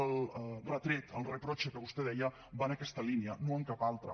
el retret el reproche que vostè deia va en aquesta línia no en cap altra